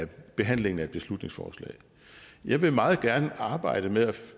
behandlingen af et beslutningsforslag jeg vil meget gerne arbejde med